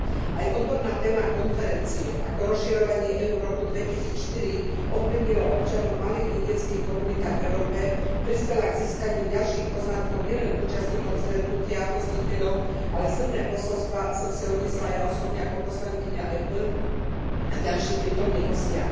Aj odborná téma konferencie Ako rozširovanie EÚ v roku 2004 ovplyvnilo občanov v malých vidieckych komunitách v Európe prispela k získaniu ďalších poznatkov nielen účastníkom stretnutia, hostiteľom, ale silné posolstvá som si odniesla aj ja osobne ako poslankyňa EP a ďalší prítomní hostia.